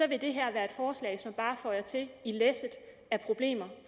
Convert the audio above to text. vil det her være et forslag som bare føjer til læsset af problemer